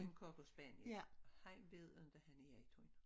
En cockerspaniel han ved ikke han er en hund